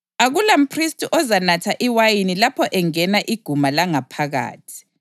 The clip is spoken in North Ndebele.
Akulamphristi ozanatha iwayini lapho engena iguma langaphakathi.